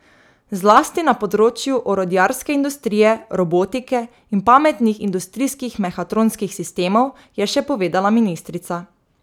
Zlasti na področju orodjarske industrije, robotike in pametnih industrijskih mehatronskih sistemov, je še povedala ministrica.